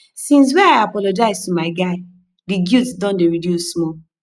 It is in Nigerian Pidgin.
since wey i apologize to my guy di guilt don dey reduce small